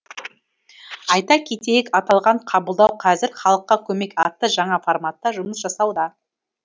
айта кетейік аталған қабылдау қазір халыққа көмек атты жаңа форматта жұмыс жасауда